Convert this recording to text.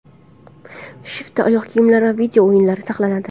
Shiftda oyoq kiyimlar va video-o‘yinlar saqlanadi.